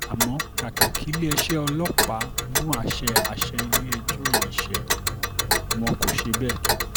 àmọ́ kàkà kí iléeṣẹ́ ọlọ́pàá mú àṣẹ àṣẹ ilé-ẹjọ́ yìí ṣe wọ́n kó ṣe bẹ́ẹ̀